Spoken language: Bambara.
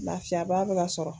Lafiyaba be ka sɔrɔ